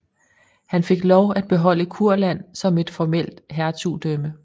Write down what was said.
Han fik lov at beholde Kurland som et formelt hertugdømme